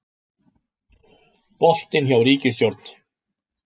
Boltinn hjá ríkisstjórn